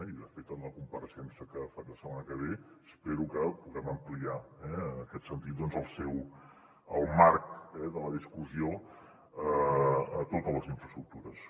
i de fet en la compareixença que faré la setmana que ve espero que puguem ampliar en aquest sentit doncs el marc de la discussió a totes les infraestructures